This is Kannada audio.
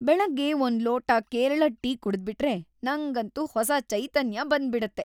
ಬೆಳಗ್ಗೆ ಒಂದ್ ಲೋಟ ಕೇರಳದ್ ಟೀ ಕುಡಿದ್ಬಿಟ್ರೆ ನಂಗಂತೂ ಹೊಸ ಚೈತನ್ಯ ಬಂದ್ಬಿಡತ್ತೆ.